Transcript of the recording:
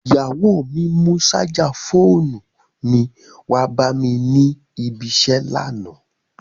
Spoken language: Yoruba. Ìyàwó mi mú ṣájà fóònù mi wá bá mi ní ibi-iṣẹ́ lánàá.